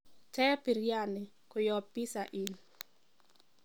teeb biriani kuyob pizza inn